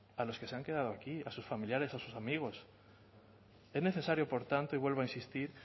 a los que se han quedado aquí a sus familiares a sus amigos es necesario por tanto y vuelvo a insistir